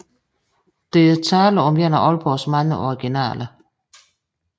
Der er tale om en af Aalborgs mange originaler